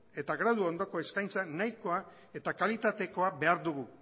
eta gradu ondoko eskaintza nahikoa eta kalitatekoa behar dugu